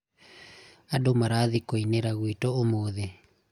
andũ marathiĩ kũinĩra gwitũ ũmũthĩ